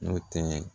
N'o tɛ